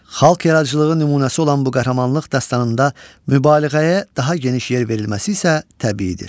Xalq yaradıcılığı nümunəsi olan bu qəhrəmanlıq dastanında mübaliğəyə daha geniş yer verilməsi isə təbiidir.